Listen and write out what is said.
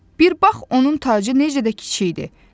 Bir bax, onun tacı necə də kiçikdir.